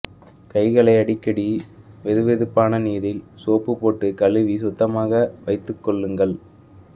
கைகளை அடிக்கடி வெதுவெதுப்பான நீரில் சோப்பு போட்டு கழுவி சுத்தமாக வைத்துக் கொள்ளுங்கள்